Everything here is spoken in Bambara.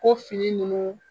Ko fini nunnu